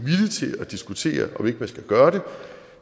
at diskutere om ikke man skal gøre det